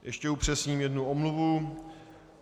Ještě upřesním jednu omluvu.